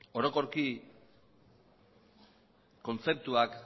orokorki kontzeptuak